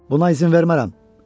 Buna izin vermərəm.